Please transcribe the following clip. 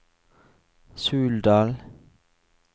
Suldal